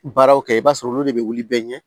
Baaraw kɛ i b'a sɔrɔ olu de bɛ wuli bɛɛ ɲɛ